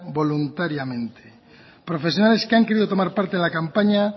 voluntariamente profesionales que han querido tomar parte en la campaña